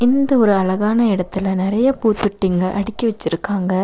இந்த ஒரு அழகான எடத்துல நெறய பூத்தொட்டிங்க அடுக்கி வெச்சுருக்காங்க.